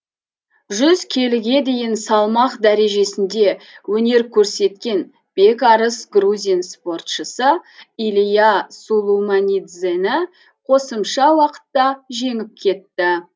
жүз келіге дейін салмақ дәрежесінде өнер көрсеткен бекарыс грузин спортшысы илиа сулуманидзені қосымша уақытта жеңіп кетті